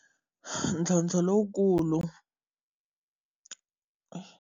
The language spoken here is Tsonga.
Ntlhontlho lowu kulu.